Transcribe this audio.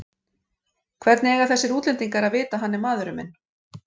Hvernig eiga þessir útlendingar að vita að hann er maðurinn minn?